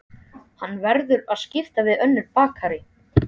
Hann verður að skipta við önnur bakarí.